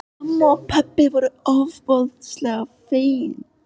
Og mamma og pabbi voru ofboðslega fegin.